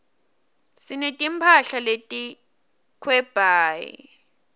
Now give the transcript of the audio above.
sineti mphahla leti khebywali